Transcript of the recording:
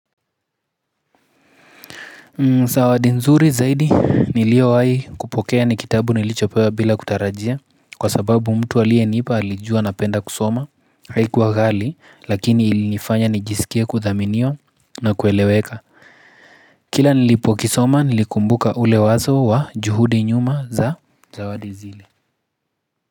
Zawadi nzuri zaidi niliyowahi kupokea ni kitabu nilichopewa bila kutarajia, kwa sababu mtu aliyenipa alijua napenda kusoma, haikuwa ghali lakini ilinifanya nijisikie kuthaminiwa na kueleweka. Kila nilipokisoma nilikumbuka ule wazo wa juhudi nyuma za zawadi zile.